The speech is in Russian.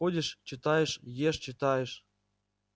ходишь читаешь ешь читаешь